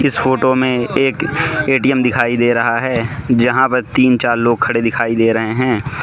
इस फोटो में एक ए_टी_एम दिखाई दे रहा हैं जहाँ पर तीन चार लोग खड़े दिखाई दे रहे है।